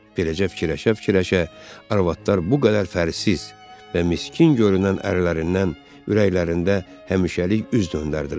Beləcə fikirləşə-fikirləşə arvadlar bu qədər fərqsiz və miskin görünən ərlərindən ürəklərində həmişəlik üz döndərdilər.